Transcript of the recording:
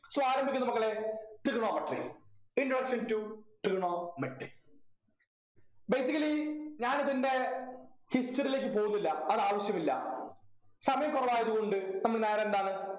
so ആരംഭിക്കുന്നു മക്കളെ trigonometry introduction to trigonometry basically ഞാനിതിൻ്റെ history ലേക്ക് പോകുന്നില്ല അതാവശ്യമില്ല സമയക്കുറവായത് കൊണ്ട് നമ്മള് നേരെ എന്താന്ന്